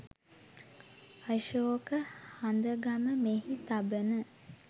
අශෝක හඳගම මෙහි තබන